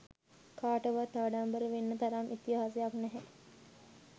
කාටවත් ආඩම්බර වෙන්න තරම් ඉතිහාසයක් නැහැ.